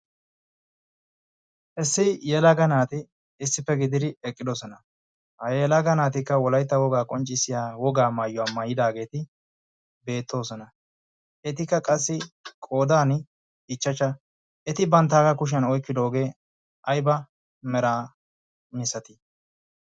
issi yeelagga naati issippe gidiri eqqidosona ha yeelaaga naatikka wolaytta wogaa qonccissiya wogaa maayyuaa mayidaageeti beettoosona etikka qassi qoodan ichchachcha eti banttaagaa kushiyan oikkidoogee ayba mera misatii